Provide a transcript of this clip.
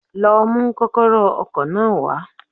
Lo mú kókóró ọkò náà wá